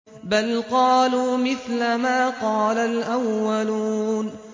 بَلْ قَالُوا مِثْلَ مَا قَالَ الْأَوَّلُونَ